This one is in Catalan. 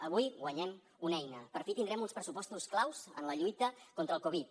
avui guanyem una eina per fi tindrem uns pressupostos claus en la lluita contra el covid